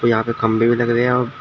यहाँ पे खम्भे भी लग रहे हैं आ--